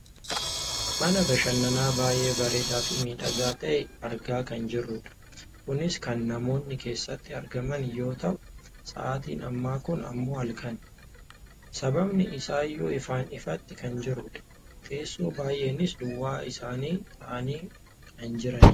Mana bashannanaa baayyee bareedaafi miidhagaa ta'e argaa kan jirrudha. Kunis kan namoonni keessatti argaman yoo ta'u sa'atiin ammaa kun ammoo halkanidha. Sababni isaayyuu ifaan ifatti kan jirudha. Teessoo baayyeenis duwwaa isaanii taa'aanii kan jiranidha.